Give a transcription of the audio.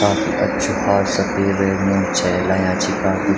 काफी अच्छू फार सफ़ेद आया छी काफी--